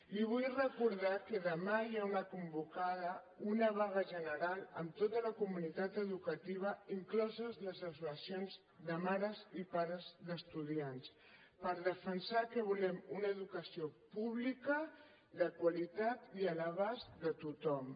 li vull recordar que demà hi ha convocada una vaga general amb tota la comunitat educativa incloses les associacions de mares i pares d’estudiants per defensar que volem una educació pública de qualitat i a l’abast de tothom